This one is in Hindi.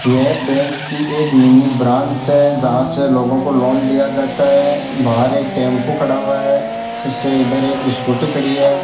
यह बैंक की एक मिनी ब्रांच है जहां से लोगों को लोन दिया जाता है बाहर एक टेंपू खड़ा हुआ है इससे इधर एक स्कूटी खड़ी है।